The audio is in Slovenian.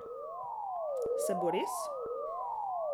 Se bo res?